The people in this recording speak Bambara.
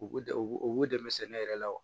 U dɛ u b'u dɛmɛ sɛnɛ yɛrɛ la wa